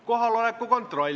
Kohaloleku kontroll.